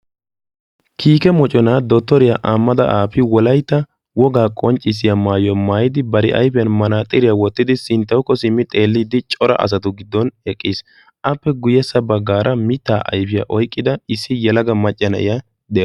kiikke moconaa dotoeiya aabi ahimedi wolaytta wogaa maayuwa maayidi ba ayfin manaaxiriya wotidi cora asatu sintan eqqiis, appe guyessa bagaara mitaa ayfiya oyqidda issi yelaga na'iya de'awusu.